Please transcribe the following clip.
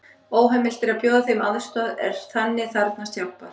Óheimilt er að bjóða þeim aðstoð er þannig þarfnast hjálpar.